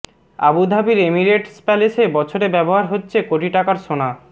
আবুধাবির Emirates প্যালেসে বছরে ব্যবহার হচ্ছে কোটি টাকার সোনা